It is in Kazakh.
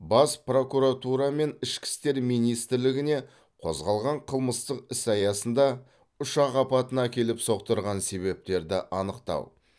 бас прокуратура мен ішкі істер министрлігіне қозғалған қылмыстық іс аясында ұшақ апатына әкеліп соқтырған себептерді анықтау